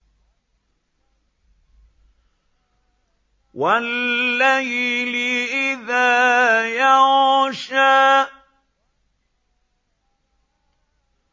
وَاللَّيْلِ إِذَا يَغْشَىٰ